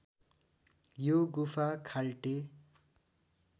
यो गुफा खाल्टे